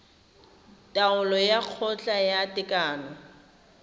taolo ya kgotla ya tekano